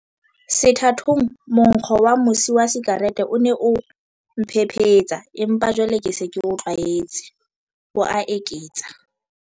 "Sethatong, monkgo wa mosi wa sikarete o ne o mphephetsa, empa jwale ke se ke o tlwaetse," o a eketsa.